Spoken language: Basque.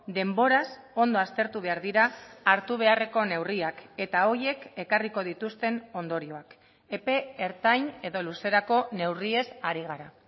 denboraz ondo aztertu behar dira hartu beharreko neurriak eta horiek ekarriko dituzten ondorioak epe ertain edo luzerako neurriez hari gara